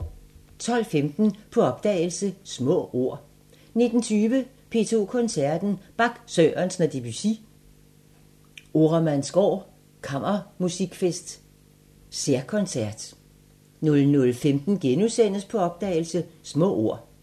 12:15: På opdagelse – Små ord 19:20: P2 Koncerten – Bach, Sørensen og Debussy – Oremandsgaard Kammermusikfest særkoncert 00:15: På opdagelse – Små ord *